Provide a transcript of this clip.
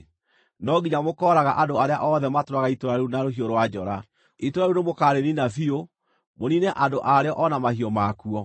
no nginya mũkooraga andũ arĩa othe matũũraga itũũra rĩu na rũhiũ rwa njora. Itũũra rĩu nĩmũkarĩniina biũ, mũniine andũ a rĩo o na mahiũ makuo.